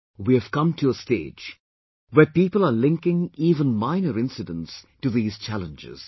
We have come to a stage where people are linking even minor incidents to these challenges